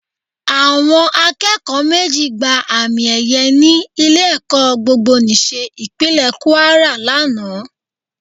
Àwọn akẹ́kọ̀ọ́ méjì gba àmì ẹyẹ ní ilé-ẹ̀kọ́ Gbogbonìṣe Ìpínlẹ̀ kúárà lánàá